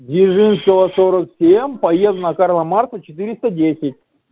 дзержинского сорок семь поеду на карла маркса четыреста десять